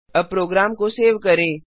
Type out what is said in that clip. अब प्रोग्राम को सेव करें